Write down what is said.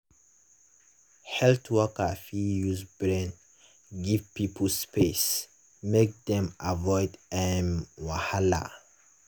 health worker fit use brain give people space make dem avoid um wahala.